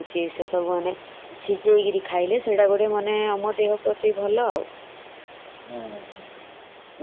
ନାଇ ଆହୁରି ବି ଗୋଟେ କଥା ମାନେ ଯୋଉମାନେ wait loss କରିବାକୁ ଚାହୁଛନ୍ତି